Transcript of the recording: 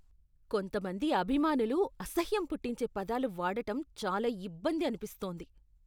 కొంతమంది అభిమానులు అసహ్యం పుట్టించే పదాలు వాడటం చాలా ఇబ్బంది అనిపిస్తోంది.